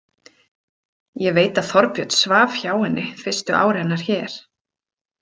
Ég veit að Þorbjörn svaf hjá henni fyrstu ár hennar hér.